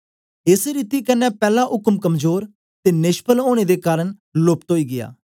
एस रीति क्न्ने पैला उक्म कमजोर ते नेष्फल ओनें ने कारन लोप्प्त ओई गीया